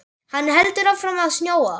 Hann heldur áfram að snjóa.